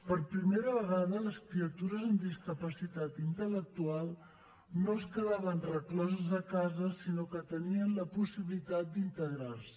per primera vegada les criatures amb discapacitat intel·lectual no es quedaven recloses a casa sinó que tenien la possibilitat d’integrar se